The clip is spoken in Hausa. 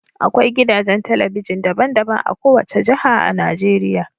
Akwai gidajen talabijin daban-daban a kowace jiha a Najeriya.